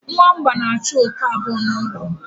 Nwamba na-achụ oke abụọ n'ụlọ.